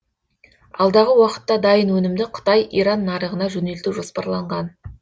алдағы уақытта дайын өнімді қытай иран нарығына жөнелту жоспарланған